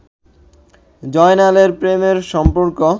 জয়নালের প্রেমের সম্পর্ক